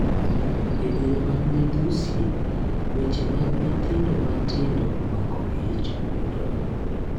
E diere mag midhusi, weche mag nyithindo matindo mako ich omedore.